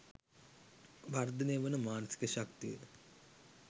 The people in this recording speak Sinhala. වර්ධනය වන මානසික ශක්තිය